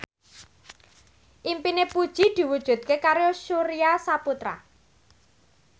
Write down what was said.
impine Puji diwujudke karo Surya Saputra